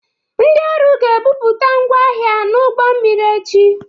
Ndị ọrụ ga-ebupụta ngwa ahịa n'ụgbọ mmiri echi.